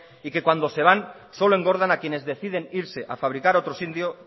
y que cuando se van solo engordan a quienes deciden irse a fabricar